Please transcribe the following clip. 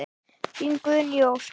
Þín Guðný Ósk.